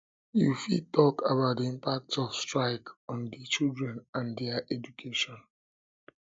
you fit talk about di impact of strike on di children and dia education